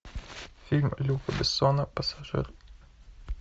фильм люка бессона пассажир